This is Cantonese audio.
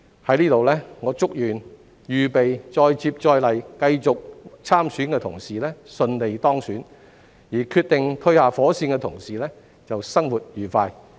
在這裏我祝願預備再接再厲、繼續參選的同事順利當選，決定退下火線的同事生活愉快。